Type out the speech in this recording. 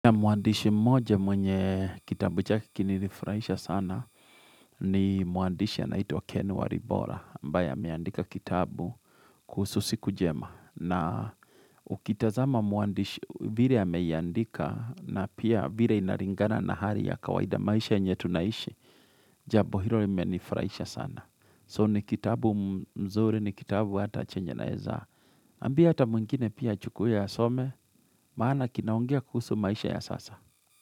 Mwandishi moja mwenye kitabu chake kili nifurahaisha sana ni mwandishi anaitwa Ken Waribora ambaye ameandika kitabu kuhusu siku jema na ukitazama mwandishi vire ameiyandika na pia vire inaringana na hari ya kawaida maisha yenye tunaishi jabo hilo ya imenifurahaisha sana so ni kitabu mzuri ni kitabu hata chenye naeza ambia hata mwingine pia achukue asome maana kinaongea kuhusu maisha ya sasa.